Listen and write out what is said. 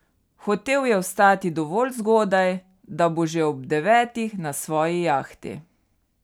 Hotel je vstati dovolj zgodaj, da bo že ob devetih na svoji jahti.